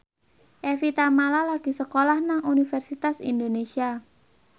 Evie Tamala lagi sekolah nang Universitas Indonesia